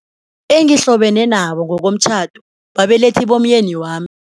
Engihlobene nabo ngokomtjhado babelethi bomyeni wami.